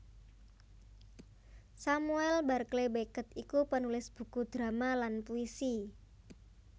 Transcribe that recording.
Samuel Barclay Beckett iku penulis buku drama lan puisi